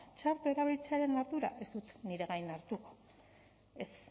txarto erabiltzearen ardura ez dut nire gain hartuko ez